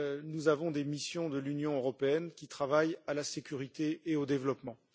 nous avons des missions de l'Union européenne qui travaillent à la sécurité et au développement.